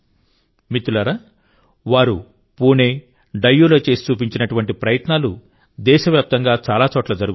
మిత్రులారావారు పూణే డయ్యూలో చేసి చూపించినటువంటి ప్రయత్నాలు దేశవ్యాప్తంగా చాలా చోట్ల జరుగుతున్నాయి